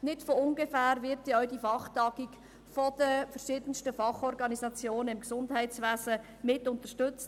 Nicht von ungefähr wird denn auch diese Fachtagung von den verschiedensten Fachorganisationen aus dem Gesundheitswesen mitunterstützt.